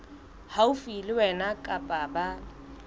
haufi le wena kapa ba